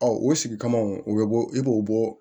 o sigi kama u bɛ bɔ e b'o bɔ